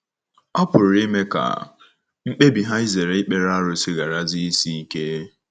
Ọ̀ pụrụ ime ka mkpebi ha izere ikpere arụsị gharazie isi ike?